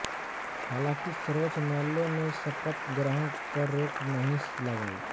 हालाँकि सर्वोच्च न्यायालय ने शपथ ग्रहण पर रोक नहीं लगायी